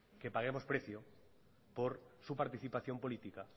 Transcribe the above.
que paguemos precio por su participación política